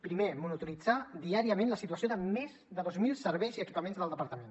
primer monitoritzar diàriament la situació de més de dos mil serveis i equipaments del departament